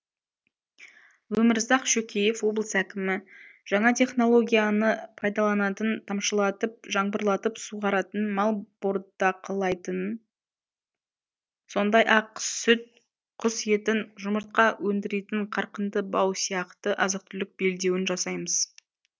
өмірзақ шөкеев облыс әкімі жаңа технологияны пайдаланатын тамшылатып жаңбырлатып суғаратын мал бордақылайтын сондай ақ сүт құс етін жұмыртқа өндіретін қарқынды бау сияқты азық түлік белдеуін жасаймыз